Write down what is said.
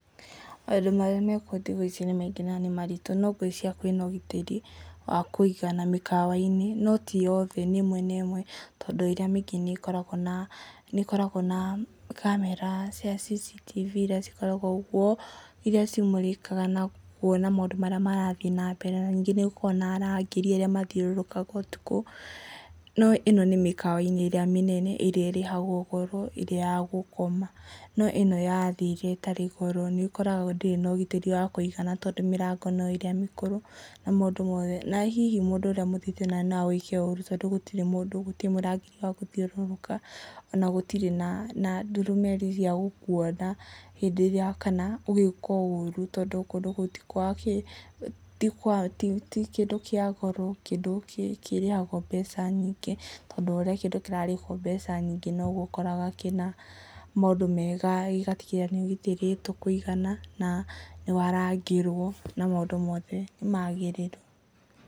Maũndũ marĩa me kuo thikũ ici nĩ maingĩ na nĩ maritũ no ngwĩciria kwĩna ũgitĩri, wa kũigana mĩkawa-inĩ, no ti yothe nĩ ĩmwe na ĩmwe, tondũ ĩrĩa mĩ-ingĩ nĩ ĩkoragwo na, camera cia CCTV iria cikoragwo kuo, iria cimũrĩkaga na kuona maũndũ marĩa marathiĩ na mbere. Na ningĩ nĩ gũkoragwo na arangĩri arĩa mathiũrũrũkaga ũtukũ, no ĩno nĩ mĩkawa-inĩ rĩa mĩnene ĩrĩa ĩrĩhagwo goro ĩrĩa ya gũkoma, no ĩno ya thĩ ĩrĩa ĩtarĩ goro, nĩ ũkoraga ndĩrĩ na ũgitĩri wa kũigana tondũ mĩrango nĩ ĩrĩa mĩkũrũ, na mũndũ wothe, na hihi mũndũ ũrĩa mũthi- no agwĩke ũũru na gũtirĩ mũrangĩri wa gũthiũrũrũka, ona gũtirĩ na ndurumeni cia gũkuona hĩndĩ ĩrĩa kana ũgĩkwo ũũru tondũ gũtirĩ na kĩndũ kĩa goro, kĩndũ kĩríĩagwo mbeca nyingĩ tondũ o ũrĩa kĩndũ kĩrarĩwo mbeca nyingĩ no guo ũkoraga kĩna maũndũ mega na gĩgatigĩrĩra nĩ kĩgitĩrĩtwo kũigana, na nĩ warangĩrwo, na maũndũ mothe nĩ magĩrĩru.